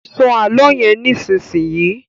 Sọ àlọ yén nísìsiyìí!